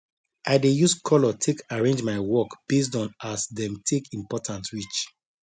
i dey use color take arrange my work based on as dem take important reach